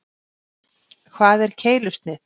Hvað er keilusnið?